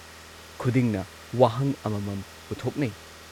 ꯈꯨꯗꯤꯡꯅ ꯋꯥꯍꯪ ꯑꯃꯃꯝ ꯄꯨꯊꯣꯛꯅꯩ ꯫